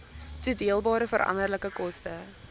toedeelbare veranderlike koste